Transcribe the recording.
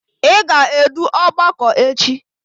Ị ga-edu ọgbakọ echi!